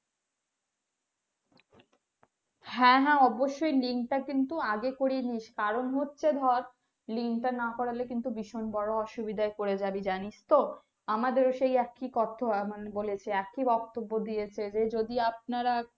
হ্যাঁ হ্যাঁ অবশ্যই link তাকিন্তু আগে করেনিস কারণ হচ্ছে ধর link টা না করলে কিন্তু ভীষণ বোরো অসুবিধাই পরে জাবি জানিস তো আমাদেরও সেই একই কথা মানে একই বক্তব্য দিয়াছে যদি আপনারা